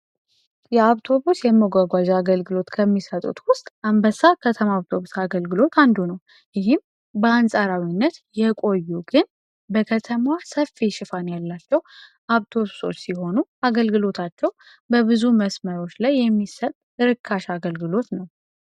የአውቶቡስ የመጓጓዣ አገልግሎት ከሚሰጡት ውስጥ የአንበሳ የአውቶቡስ አግልግሎት አንዱ ነው። ይህም በአንፃራዊነት የቆዩ ግን በከተማዋ ሰፊ ሽፋን ያላቸው አውቶቢሶች ሲሆኑ አገልግሎታቸው በብዙ መንገድ ላይ የሚሰጥ ርካሽ አገልግሎት ነው።